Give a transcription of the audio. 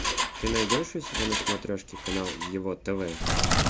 ты найдешь у себя на смотрешке канал его тв